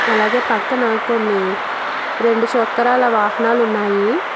అలాగే పక్కన కొన్ని రెండు చొక్రాల వాహనాలు ఉన్నాయి.